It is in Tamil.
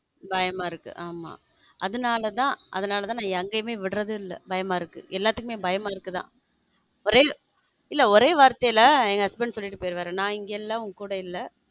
பயமா இருக்கு ஆமா அதனாலதான் அதனாலதான் நான் எங்கேயுமே விட்றதில்ல பயமா இருக்கு எல்லாத்துக்குமே பயமா இருக்குதா ஒரே ஒரே வார்த்தையில் husband சொல்லிட்டு போயிருவாரு நான் இங்க இல்ல உன் கூட இல்ல.